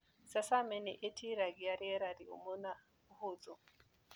Sesame nĩĩtiragia riera rĩũmũ na ũhũthũ.